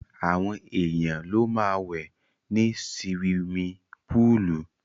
Àwọn èèyàn ló máa wẹ̀ ní siwimi púùlù.